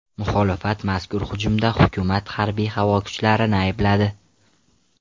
Muxolifat mazkur hujumda hukumat harbiy-havo kuchlarini aybladi.